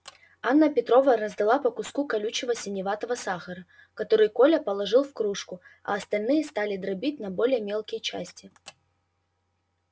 анна петровна раздала по куску колючего синеватого сахара который коля положил в кружку а остальные стали дробить на более мелкие части